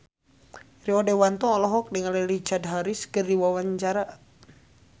Rio Dewanto olohok ningali Richard Harris keur diwawancara